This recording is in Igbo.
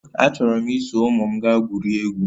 Achọrọ m iso ụmụ m gaa gwurie egwu